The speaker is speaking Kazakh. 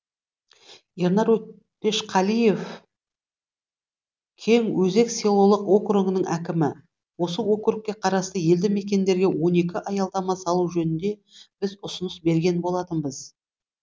ернар өтешқалиев кеңөзек селолық округінің әкімі осы округке қарасты елді мекендерге он екі аялдама салу жөнінде біз ұсыныс берген болатынбыз